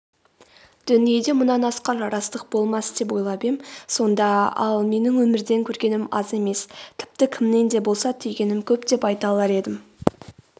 дүниеде мұнан асқан жарастық болмас деп ойлап ем сонда ал менің өмірден көргенім аз емес тіпті кімнен де болса түйгенім көп деп айта алар едім